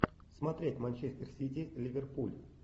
смотреть манчестер сити ливерпуль